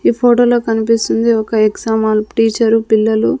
ఈ ఫోటోలో కనిపిస్తుంది ఒక ఎగ్జామ్ హాల్ టీచరు పిల్లలు.